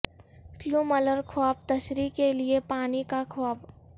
کیوں ملر خواب تشریح کے لئے پانی کا خواب